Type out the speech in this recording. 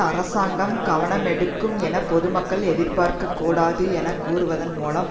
அரசாங்கம் கவனமெடுக்கும் என பொது மக்கள் எதிர்பார்க்கக் கூடாது என கூறுவதன் மூலம்